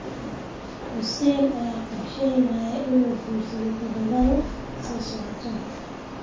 Xussein ayaa qorsheynaya inuu guursado toddobaadka soo socda.